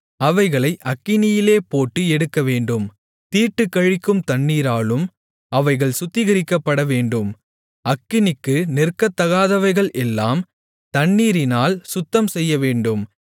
அவைகளை அக்கினியிலே போட்டு எடுக்கவேண்டும் தீட்டுக்கழிக்கும் தண்ணீராலும் அவைகள் சுத்திகரிக்கப்படவேண்டும் அக்கினிக்கு நிற்கத் தகாதவைகள் எல்லாம் தண்ணீரினால் சுத்தம் செய்யவேண்டும்